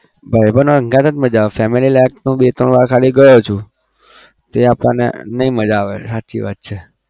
ભાઈબંધઓ હંગાત જ મજા આવે family તો હું બે ત્રણ વાર ખાલી ગયો છું જે આપણને નહિ મજા આવે સાચી વાત છે.